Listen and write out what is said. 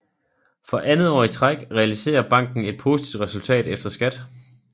For andet år i træk realiserer banken et positivt resultat efter skat